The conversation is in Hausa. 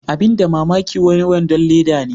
abin da mamaki wai wadon Leda ne.